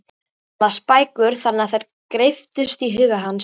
Hann las bækur þannig að þær greyptust í huga hans.